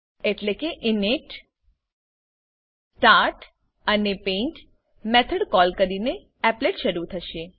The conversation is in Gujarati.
એટલે કે initstart અને paint મેથડ કોલ કરીને એપ્લેટ શરુ થશે